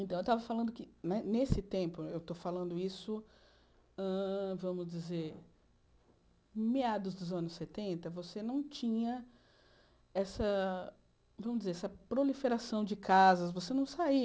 Então, eu estava falando que né, nesse tempo, eu estou falando isso, hã vamos dizer, meados dos anos setenta, você não tinha essa, vamos dizer, essa proliferação de casas, você não saía.